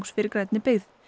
fyrir grænni byggð